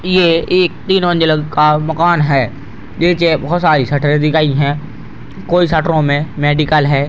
ये एक तीन मंजिल का मकान है | निचे बहुत सारी सटर दी गई है | कोई सटरो में मेडिकल है |